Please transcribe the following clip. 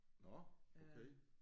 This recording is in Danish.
Nåh okay